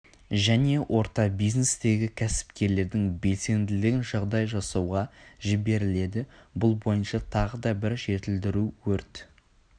және орта бизнестегі кәсіпкерлердің белсенділігін жағдай жасауға жіберіледі бұл бойынша тағы да бір жетілдіру өрт